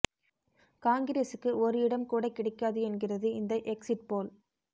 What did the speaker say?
காங்கிரஸுக்கு ஒரு இடம் கூட கிடைக்காது என்கிறது இந்த எக்ஸிட் போல்